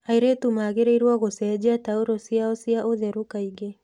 Airĩtu magĩrĩirũo gũcenjia taurũ ciao cia ũtheru kaingĩ.